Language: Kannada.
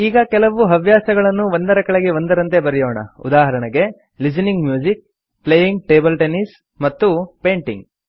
ಈಗ ಕೆಲವು ಹವ್ಯಾಸಗಳನ್ನು ಒಂದರ ಕೆಳಗೆ ಒಂದರಂತೆ ಬರೆಯೋಣ ಉದಾಹರಣೆಗೆ listening to music playing table tennis ಮತ್ತು ಪೇಂಟಿಂಗ್